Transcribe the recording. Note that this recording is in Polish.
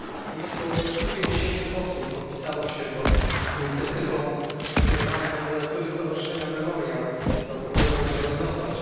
Blisko 150 posłów podpisało się pod inicjatywą skierowania kandydatury stowarzyszenia Memoriał do Pokojowej Nagrody Nobla.